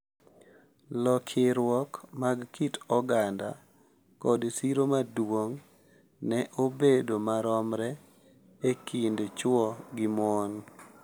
Lokiruok mag kit oganda, kod siro maduong’ ne bedo maromre e kind chwo gi mon